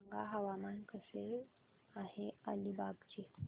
सांगा हवामान कसे आहे अलिबाग चे